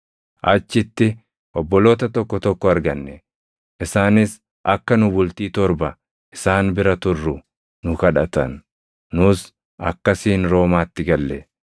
Achitti obboloota tokko tokko arganne; isaanis akka nu bultii torba isaan bira turru nu kadhatan. Nus akkasiin Roomaatti galle.